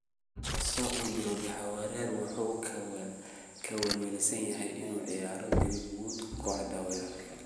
In kasta oo uu jiro jahawareer, Solskjaer wuxuu ka welwelsan yahay inuu ciyaarsiiyo Greenwood, kooxda weerarka.